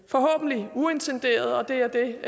uintenderet og det er det